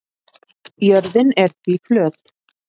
Jörðin er því flöt.